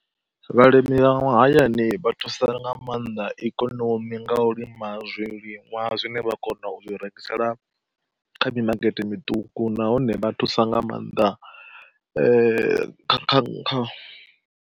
Vhalimi vha mahayani vha thusa nga maanḓa ikonomi nga u lima zwiliṅwa zwine vha kona u zwi rengisela kha mimakete miṱuku nahone vha thusa nga maanḓaeh kha kha kha.